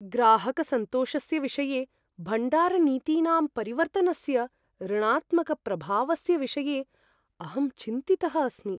ग्राहकसन्तोषस्य विषये भण्डारनीतीनां परिवर्तनस्य ऋणात्मकप्रभावस्य विषये अहं चिन्तितः अस्मि।